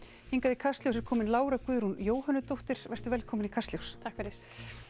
hingað í Kastljós er komin Lára Guðrún vertu velkomin í Kastljós takk fyrir